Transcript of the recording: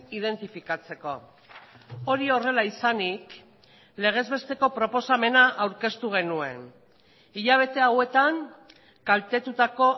identifikatzeko hori horrela izanik legez besteko proposamena aurkeztu genuen hilabete hauetan kaltetutako